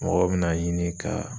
Mɔgɔw bi n'a ɲini ka